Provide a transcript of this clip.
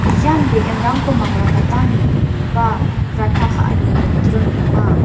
ian be·enrangko mangrakatani ba ranta ka·ani nokdring ong·a.